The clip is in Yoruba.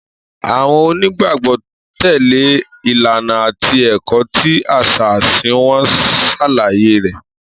Àwọn onígbàgbọ́ tẹ̀lé ìlànà àti ẹ̀kọ́ tí àṣà ẹ̀sìn wọn ṣàlàyé rẹ̀.